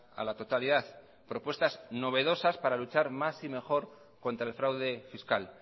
a la totalidad propuestas novedosas para luchar más y mejor contra el fraude fiscal